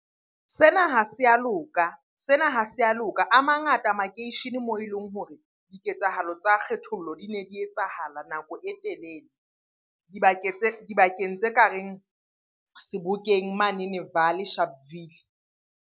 Sena ha se a loka, sena ha se a loka. A mangata makeishene moo e leng hore diketsahalo tsa kgethollo di ne di etsahala nako e telele. Dibakeng tse ka reng Sebokeng manene Vaal-e, Sharpville.